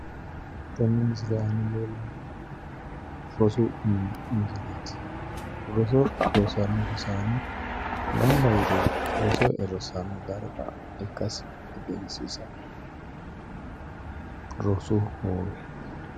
Tenne misile aana leellannohu rosu mini misoleeti roso rossanno rosaano gamba yite roso e'e rossanno darga ikkasi egensiisanno rosu hoowe.